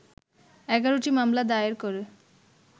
১১টি মামলা দায়ের করে